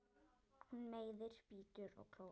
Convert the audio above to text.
Hún meiðir, bítur og klórar.